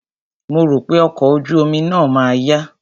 Mo rò pé ọkọ̀ ojú omi náà ma yá.